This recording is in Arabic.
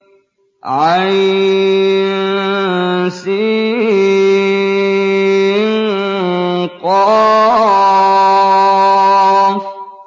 عسق